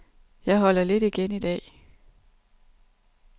Jeg holder lidt igen i dag.